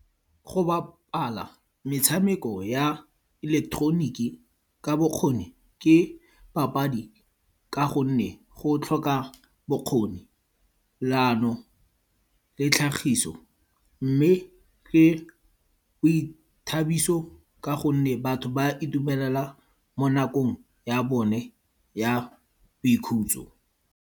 Go bapala metshameko ya ileketeroniki ka bokgoni, ke papadi ka gonne go tlhoka bokgoni, leano le tlhagiso, mme ke boithabiso ka gonne batho ba itumelela mo nakong ya bone ya boikhutso.